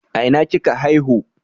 A ina kika haihu?